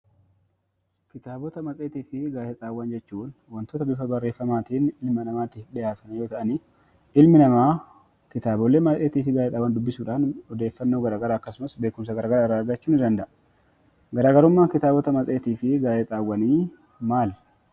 Kitaabota matseetii fi gaazexaawwan jechuun, waantota bifa barreeffamaatiin ilma namaatiif dhihaatan yoo ta'an, ilmi namaa kitaabolee baayyee fi gaazexaawwan dubbisuudhaan odeeffannoo akkasumas beekumsa garaagaraa irraa argachuu danda'a. Garaagarummaan matseetii fi gaazexaawwanii maali?